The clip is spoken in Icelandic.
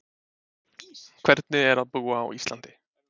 Hvernig er að búa á Íslandi?